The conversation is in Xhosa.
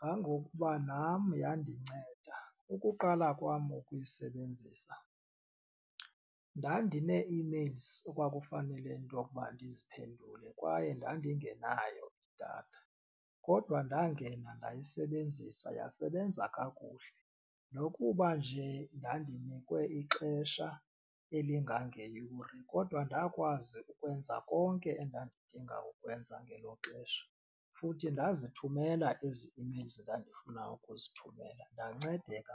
kangokuba nam yandinceda. Ukuqala kwam ukuyisebenzisa, ndandinee-emails ekwakufanele into okuba ndiziphendule kwaye ndandingenayo idatha kodwa ndangena ndayisebenzisa yasebenza kakuhle. Nokuba nje ndandinikwe ixesha elingangeyure kodwa ndakwazi ukwenza konke endandidinga ukwenza ngelo xesha futhi ndazithumela ezi emails ndandifuna ukuzithumela ndancedeka.